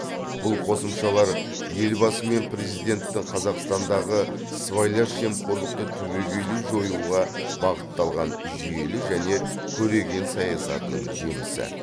бұл қосымшалар елбасы мен президенттің қазақстандағы сыбайлас жемқорлықты түбегейлі жоюға бағытталған жүйелі және көреген саясатының жемісі